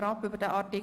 – Das ist der Fall.